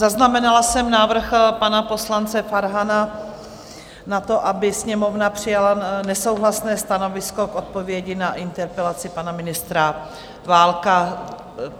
Zaznamenala jsem návrh pana poslance Farhana na to, aby Sněmovna přijala nesouhlasné stanovisko k odpovědi na interpelaci pana ministra Válka.